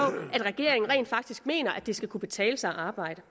at regeringen rent faktisk mener at det skal kunne betale sig at arbejde